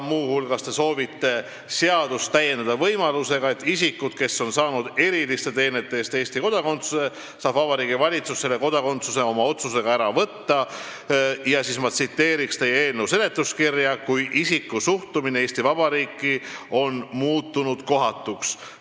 Muu hulgas soovite te seadust täiendada võimalusega, et isikult, kes on saanud Eesti kodakondsuse eriliste teenete eest, saab Vabariigi Valitsus kodakondsuse oma otsusega ära võtta , "kui isiku suhtumine Eesti Vabariiki on muutunud kohatuks".